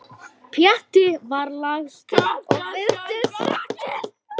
Pjatti var lagstur og virtist sáttur.